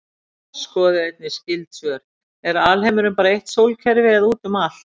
Skoðið einnig skyld svör: Er alheimurinn bara eitt sólkerfi eða út um allt?